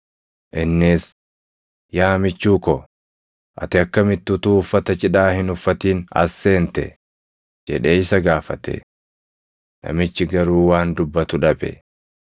Innis, ‘Yaa michuu ko, ati akkamitti utuu uffata cidhaa hin uffatin as seente?’ jedhee isa gaafate. Namichi garuu waan dubbatu dhabe.